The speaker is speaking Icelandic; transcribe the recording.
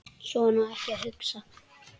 Svona á ekki að hugsa.